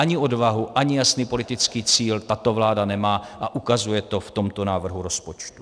Ani odvahu, ani jasný politický cíl tato vláda nemá a ukazuje to v tomto návrhu rozpočtu.